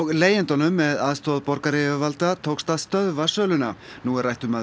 leigjendunum með aðstoð borgaryfirvalda tókst að stöðva söluna nú er rætt um að